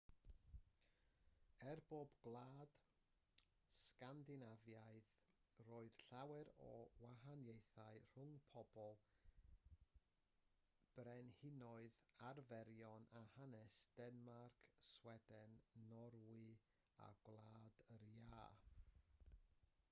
er bod pob gwlad yn sgandinafaidd roedd llawer o wahaniaethau rhwng pobl brenhinoedd arferion a hanes denmarc sweden norwy a gwlad yr iâ